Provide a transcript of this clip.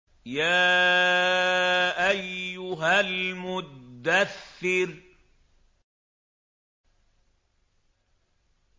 يَا أَيُّهَا الْمُدَّثِّرُ